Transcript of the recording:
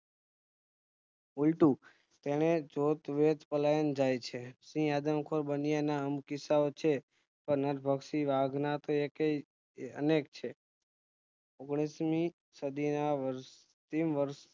ઉલટું તેને જોતવેત પલાયન જાયછે સિંહ આદમખોર બન્યાના કિસ્સાઓ છે પણ નરભક્ષી વાઘના તો અનેક છે ઓગણીસમી સદીના વર્ષ